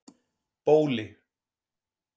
Bóli